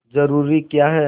जरूरी क्या है